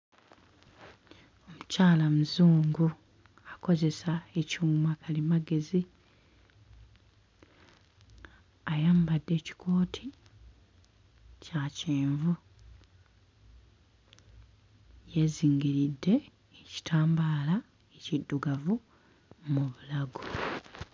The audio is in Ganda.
Omukyala muzungu akozesa ekyumakalimagezi ayambadde ekikooti kya kyenvu yeezingiridde ekitambaala ekiddugavu mu bulago.